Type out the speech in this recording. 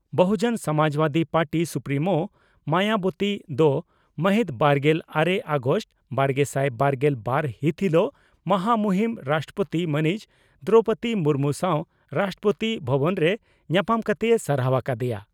ᱵᱚᱦᱩ ᱡᱚᱱ Samajwadi party supremo Mayawati ᱫᱚ ᱢᱟᱹᱦᱤᱛᱵᱟᱨᱜᱮᱞ ᱟᱨᱮ ᱟᱜᱚᱥᱴ ᱵᱟᱨᱜᱮᱥᱟᱭ ᱵᱟᱨᱜᱮᱞ ᱵᱟᱨ ᱦᱤᱛ ᱦᱤᱞᱚᱜ ᱢᱚᱦᱟ ᱢᱩᱦᱤᱱ ᱨᱟᱥᱴᱨᱚᱯᱳᱛᱤ ᱢᱟᱹᱱᱤᱡ ᱫᱨᱚᱣᱯᱚᱫᱤ ᱢᱩᱨᱢᱩ ᱥᱟᱣ ᱨᱟᱥᱴᱨᱚᱯᱳᱛᱤ ᱵᱷᱚᱵᱚᱱᱨᱮ ᱧᱟᱯᱟᱢ ᱠᱟᱛᱮᱭ ᱥᱟᱨᱦᱟᱣ ᱟᱠᱟ ᱫᱮᱭᱟ ᱾